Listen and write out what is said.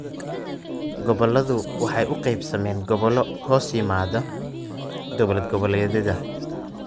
Gobolladu waxay u qaybsameen gobollo hoos yimaadda dawlad-goboleedyada.